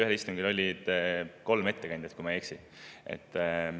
Ühel istungil oli kolm ettekandjat, kui ma ei eksi.